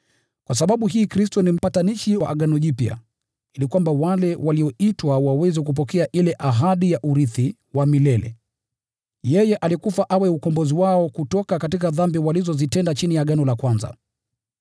Kwa sababu hii Kristo ni mpatanishi wa agano jipya, ili kwamba wale walioitwa waweze kupokea ile ahadi ya urithi wa milele: kwa vile yeye alikufa awe ukombozi wao kutoka kwa dhambi walizozitenda chini ya agano la kwanza.